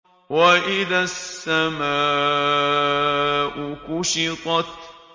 وَإِذَا السَّمَاءُ كُشِطَتْ